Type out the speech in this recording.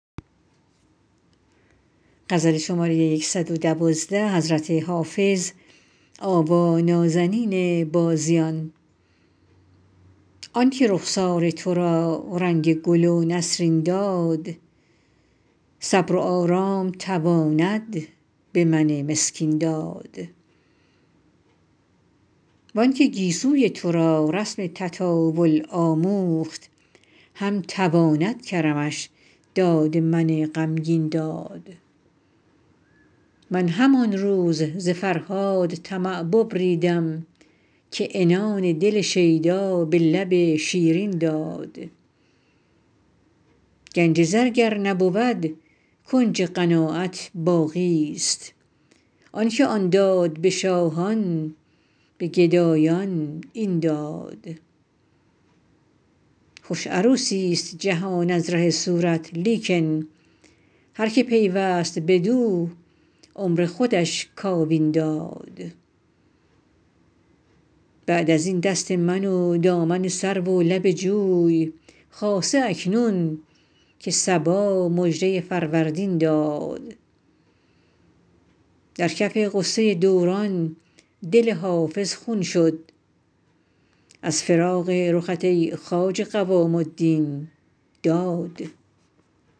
آن که رخسار تو را رنگ گل و نسرین داد صبر و آرام تواند به من مسکین داد وان که گیسوی تو را رسم تطاول آموخت هم تواند کرمش داد من غمگین داد من همان روز ز فرهاد طمع ببریدم که عنان دل شیدا به لب شیرین داد گنج زر گر نبود کنج قناعت باقیست آن که آن داد به شاهان به گدایان این داد خوش عروسیست جهان از ره صورت لیکن هر که پیوست بدو عمر خودش کاوین داد بعد از این دست من و دامن سرو و لب جوی خاصه اکنون که صبا مژده فروردین داد در کف غصه دوران دل حافظ خون شد از فراق رخت ای خواجه قوام الدین داد